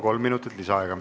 Kolm minutit lisaaega.